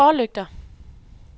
forlygter